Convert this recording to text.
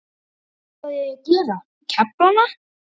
Hvað á ég að gera, kefla hana?